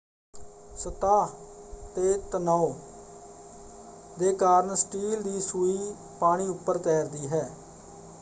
ਸਤ੍ਹਾ 'ਤੇ ਤਣਾਉ ਦੇ ਕਾਰਨ ਸਟੀਲ ਦੀ ਸੂਈ ਪਾਣੀ ਉੱਪਰ ਤੈਰਦੀ ਹੈ।